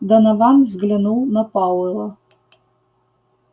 донован взглянул на пауэлла